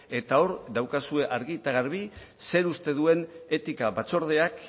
eta hor daukazue argi eta garbi zer uste duen etika batzordeak